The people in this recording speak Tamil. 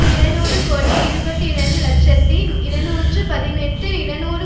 இது இருநூறு கோடியே இருபத்தி இரண்டு இலட்சத்தி இருநூற்றி பதினெட்டு இருநூறு